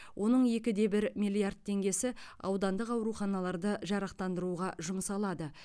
оның екі де бір миллиард теңгесі аудандық ауруханаларды жарақтандыруға жұмсалады